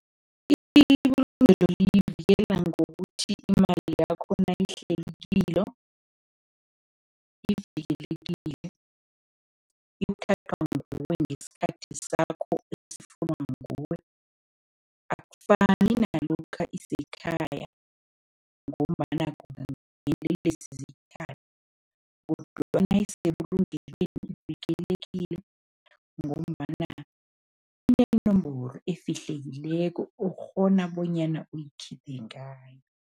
Ibulungelo liyivikela ngokuthi imali yakho nayihleli kilo ivikelekile, ithathwa nguwe ngesikhathi sakho esifunwa nguwe, akufani nalokha isekhaya ngombana ziyithathe kodwana nayisebulungelweni ivikelekile ngombana inenomboro efihlekileko okghona bonyana uyikhiphe ngayo.